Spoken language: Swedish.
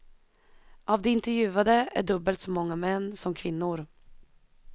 Av de intervjuade är dubbelt så många män som kvinnor.